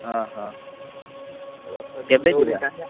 ଓହୋ କେବେଯିବା?